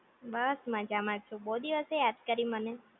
બસ મજામાં છું બોવ દિવસે યાદ કરી મને